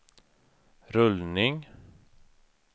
rullning